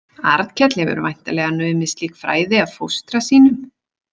Arnkell hefur væntanlega numið slík fræði af fóstra sínum.